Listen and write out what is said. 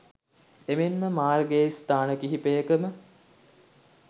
එමෙන්ම මාර්ගයේ ස්ථාන කිහිපයකම